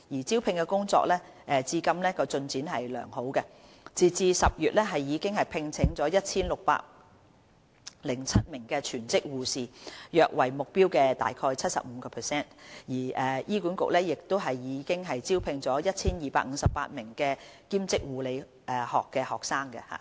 招聘工作至今的進展良好，截至10月已聘請 1,607 名全職護士，約為目標的 75%； 醫管局亦已聘請 1,258 名兼職護理學學生。